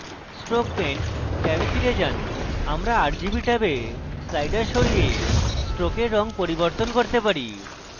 stroke paint ট্যাবে ফিরে যান আমরা rgb ট্যাবে sliders সরিয়ে stroke rgb পরিবর্তন করতে পারি